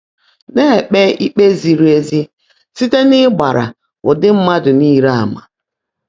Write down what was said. Ná-èkpé íkpé zìrì ézí síte n’ị́gbáàrá ụ́dị́ mmádụ́ níle àmà̀